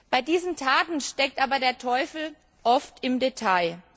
Bei diesen Taten steckt aber der Teufel oft im Detail.